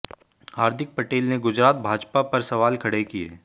हार्दिक पटेल ने गुजरात भाजपा पर सवाल खड़े किए